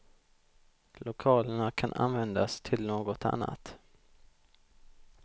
Lokalerna kan användas till något annat.